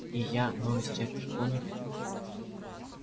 и я новый директор поняли